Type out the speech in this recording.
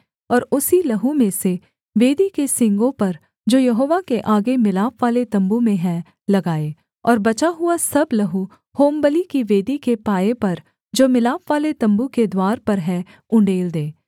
और उसी लहू में से वेदी के सींगों पर जो यहोवा के आगे मिलापवाले तम्बू में है लगाए और बचा हुआ सब लहू होमबलि की वेदी के पाए पर जो मिलापवाले तम्बू के द्वार पर है उण्डेल दे